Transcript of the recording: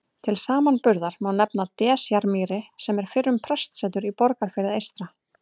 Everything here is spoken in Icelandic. Til samanburðar má nefna Desjarmýri sem er fyrrum prestsetur í Borgarfirði eystra.